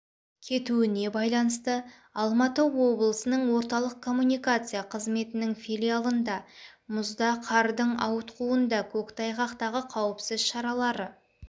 кетуіне байланысты алматы облысының орталық коммуникация қызметінің филиалында мұзда қардың ауытқуында көк тайғақтағы қауіпсіз шаралары